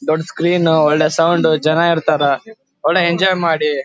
ದೊಡ್ಡ ಸ್ಕ್ರೀನ್ ಒಳ್ಳೆ ಸೌಂಡ್ ಜನ ಇರತ್ತರ್ ಒಳ್ಳೆ ಎಂಜಾಯ್ ಮಾಡಿ --